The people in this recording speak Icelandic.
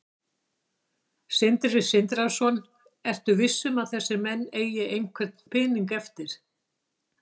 Sindri Sindrason: Ertu svo viss um að þessir menn eigi einhvern pening eftir?